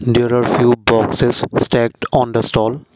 there are few boxes text stand on the stall.